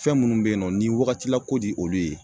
Fɛn munnu be yen nɔ ni wagatila ko de olu ye.